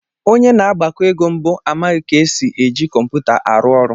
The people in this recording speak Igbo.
Onye na-agbakọ ego mbụ amaghị ka esi eji kọmputa arụ ọrụ